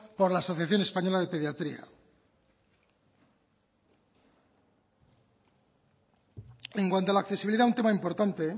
por la asociación española de pediatría en cuanto a la accesibilidad un tema importante